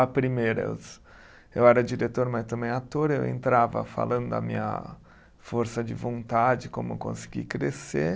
A primeira, eu eu era diretor, mas também ator, eu entrava falando da minha força de vontade, como eu consegui crescer.